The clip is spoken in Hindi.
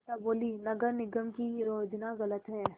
अमृता बोलीं नगर निगम की योजना गलत है